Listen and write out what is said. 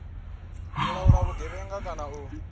u laula vhugevhenga kana u